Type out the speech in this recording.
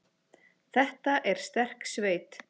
Þetta er sterk sveit.